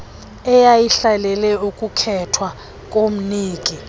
eyayihlalele ukukhethwa komniki